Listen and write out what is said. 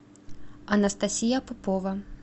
анастасия попова